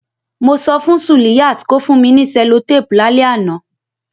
Mo so fun Suliyat ko fun mi ni cellotape lálẹ́ ánàn